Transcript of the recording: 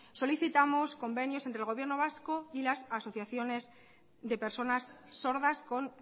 solicitamos convenios entre el gobierno vasco y las asociaciones de personas sordas con